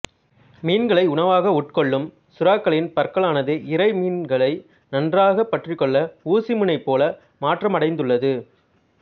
மீன்களை உணவாக உட்கொள்ளும் சுறாக்களின் பற்களானது இரை மீன்களை நன்றாக பற்றிக்கொள்ள ஊசி முனை போல மாற்றமடைந்துள்ளது